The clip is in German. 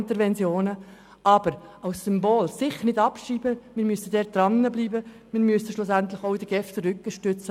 Interventionen dieser Art sind inzwischen alle ausgetrocknet.